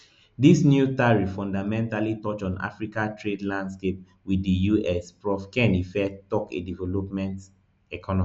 dis new tariff fundamentally touch on africa trade landscape wit di us prof ken ife tok a development economist